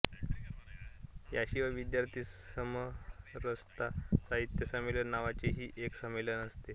याशिवाय विद्यार्थी समरसता साहित्य संमेलन नावाचेही एक संमेलन असते